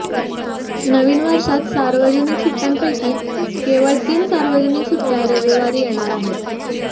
नवीन वर्षात सार्वजनिक सुट्ट्यांपैकी केवळ तीन सार्वजनिक सुट्ट्या रविवारी येणार आहेत